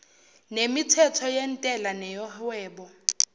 nemithetho yentela neyohwebo